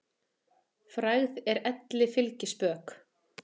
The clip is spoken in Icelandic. Frægð er elli fylgispök.